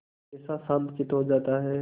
कैसा शांतचित्त हो जाता है